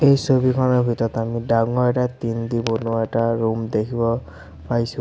এই ছবিখনৰ ভিতত আমি ডাঙৰ এটা টিং দি বনোৱা এটা ৰুম দেখিব পাইছোঁ।